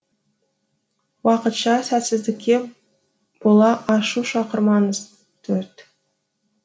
уақытша сәтсіздікке бола ашу шақырмаңыз төрт